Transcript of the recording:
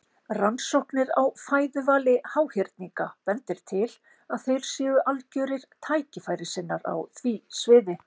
Rannsóknir á fæðuvali háhyrninga bendir til að þeir séu algjörir tækifærissinnar á því sviði.